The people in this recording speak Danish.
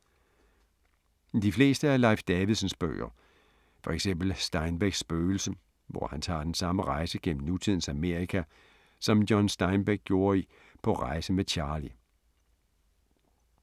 De fleste af Leif Davidsens bøger. For eksempel Steinbecks spøgelse, hvor han tager den samme rejse gennem nutidens Amerika, som John Steinbeck gjorde i På rejse med Charley.